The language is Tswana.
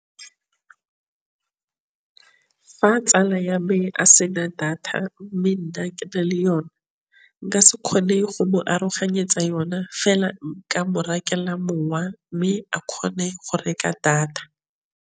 Fa tsala ya me a sena data mme nna kena le yone nka se kgone go mo aroganyetsa yona fela nka bo phakela mowa mme a kgone go reka data.